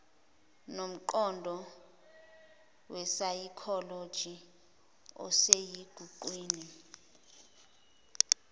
nomqondo wesayikholoji osesiqwini